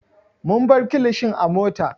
Mun bar kilishin a mota.